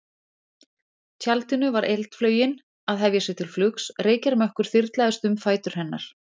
tjaldinu var eldflaugin að hefja sig til flugs, reykjarmökkur þyrlaðist um fætur hennar.